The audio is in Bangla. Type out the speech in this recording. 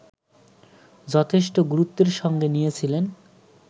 যথেষ্ট গুরুত্বের সঙ্গে নিয়েছিলেন